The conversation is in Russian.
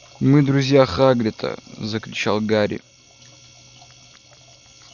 мы друзья хагрида закричал гарри